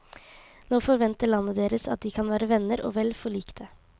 Nå forventer landet deres at de kan være venner og vel forlikte.